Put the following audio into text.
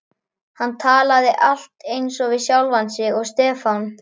Hann talaði allt eins við sjálfan sig og Stefán.